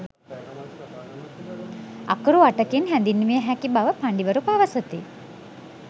අකුරු අටකින් හැඳින්විය හැකි බව පඬිවරු පවසති.